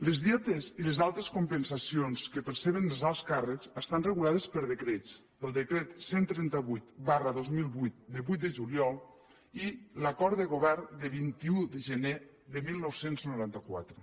les dietes i les altres compensacions que perceben els alts càrrecs estan regulades per decrets pel decret cent i trenta vuit dos mil vuit de vuit de juliol i l’acord de govern de vint un de gener de dinou noranta quatre